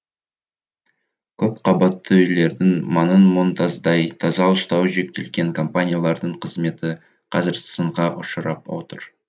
көпқабатты үйлердің маңын мұнтаздай таза ұстау жүктелген компаниялардың қызметі қазір сынға ұшырап отыр